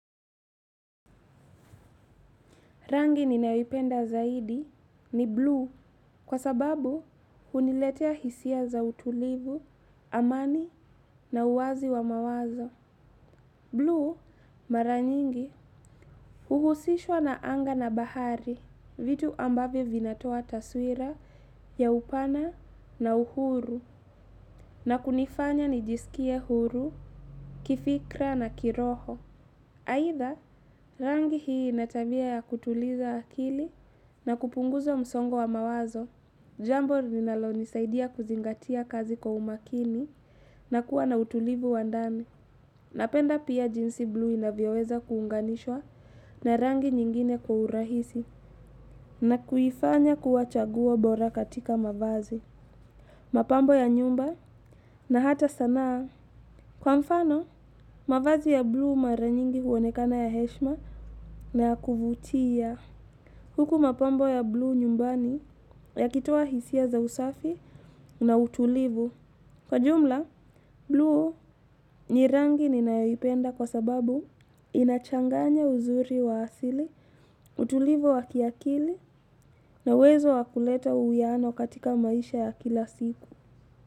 Rangi ninayoipenda zaidi ni blue kwa sababu huniletea hisia za utulivu, amani na uwazi wa mawazo. Blue mara nyingi huhusishwa na anga na bahari vitu ambavyo vinatoa taswira ya upana na uhuru na kunifanya nijisikie huru, kifikra na kiroho. Aitha, rangi hii ina tavya ya kutuliza akili na kupunguza msongo wa mawazo. Jambo linalonisaidia kuzingatia kazi kwa umakini na kuwa na utulivu wa ndani. Napenda pia jinsi blue inavyoweza kuunganishwa na rangi nyingine kwa urahisi na kuifanya kua chaguo bora katika mavazi. Mapambo ya nyumba na hata sanaa. Kwa mfano, mavazi ya blue mara nyingi huonekana ya heshma na ya kuvutia. Huku mapambo ya blue nyumbani yakitoa hisia za usafi na utulivu. Kwa jumla, blue ni rangi ninayoipenda kwa sababu inachanganya uzuri wa asili, utulivu wa kiakili na uwezo wa kuleta uwiano katika maisha ya kila siku.